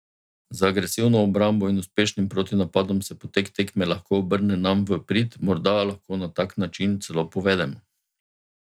Z agresivno obrambo in uspešnim protinapadom se potek tekme lahko obrne nam v prid, morda lahko na tak način celo povedemo.